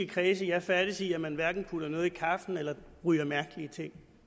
kredse jeg færdes i plejer man hverken at putte noget i kaffen eller ryge mærkelige ting